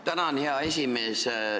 Tänan, hea esimees!